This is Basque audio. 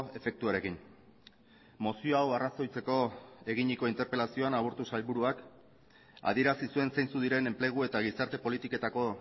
efektuarekin mozio hau arrazoitzeko eginiko interpelazioan aburto sailburuak adierazi zuen zeintzuk diren enplegu eta gizarte politiketako